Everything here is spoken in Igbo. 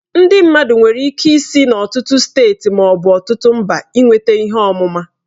Ndị mmadụ nwere ike isi n'ọtụtụ steeti ma ọ bụ mba ịnweta ihe ọmụma.